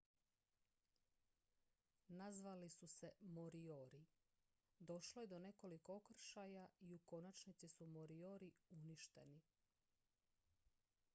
nazvali su se moriori došlo je do nekoliko okršaja i u konačnici su moriori uništeni